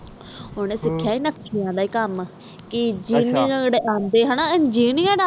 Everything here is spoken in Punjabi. ਓਹਨੇ ਸਿਖਿਆ ਆ ਨਕਸ਼ਿਆਂ ਦਾ ਕਾਮ ਕਿ ਜੇਨਰ ਅੰਡੇ ਏਂਗੀਨਰਾਰ